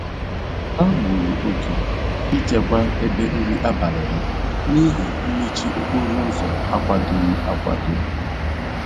Ha gburu oge ịchekwa ebe nri abalị ha n'ihi mmechi okporoụzọ akwadoghị akwado.